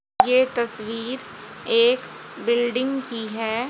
ये तस्वीर एक बिल्डिंग की है।